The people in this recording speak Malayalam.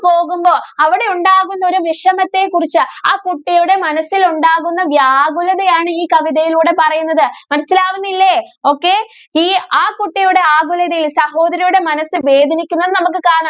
പോകുമ്പോൾ അവിടെ ഉണ്ടാകുന്ന ഒരു വിഷമത്തെ കുറിച്ച് ആ കുട്ടിയുടെ മനസ്സിൽ ഉണ്ടാകുന്ന വ്യാകുലത ആണ് ഈ കവിതയിലൂടെ പറയുന്നത് മനസിലാകുന്നില്ലേ okay ഇനി ആ കുട്ടിയുടെ ആകുലതയെ സഹോദരിയുടെ മനസ്സ് വേദനിക്കുന്നു എന്ന് നമുക്ക്